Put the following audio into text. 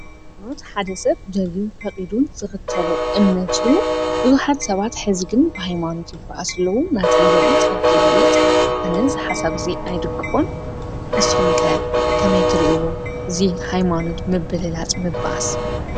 ሃይማኖት ሓደ ሰብ ደልዩን ፈቁዱን ዝክተሎ እምነት እዩ። ቡዙሓት ሰባት ሐዚ ግን ብሃይማኖት ይበኣሱ ኣለዉ። ናተይ ይበልፅ ናተይ ይበልፅ ኣነ ዝሓሳብ እዙይ ኣይድግፎን። ንስኩም ከ ከመይ ትሪእዎ ዚ ሃይማኖት ምብልላፅ ምብኣስ ?